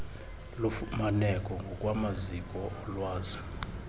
lufumaneke ngokwamaziko olwazi